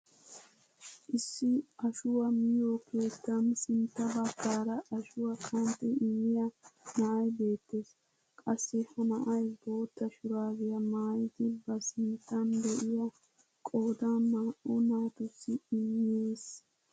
Issi ashshuwaa miyoo keettan sintta baggaara ashshuwaa qanxxi immiyaa na'ay beettees. qassi ha na'ay bootta shuraabiyaa maayidi ba sinttan de'iyaa qoodan naa"u natussi immees.